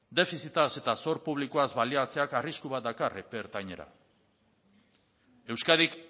defizitaz eta sor publikoaz baliatzeak arrisku bat dakar epe ertainera euskadik